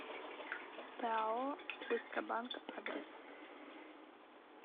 пао быстробанк адрес